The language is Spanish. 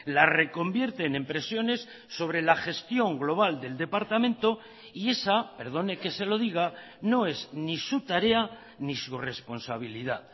la reconvierten en presiones sobre la gestión global del departamento y esa perdone que se lo diga no es ni su tarea ni su responsabilidad